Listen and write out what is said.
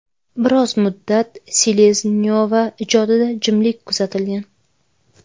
Biroz muddat Seleznyova ijodida jimlik kuzatilgan.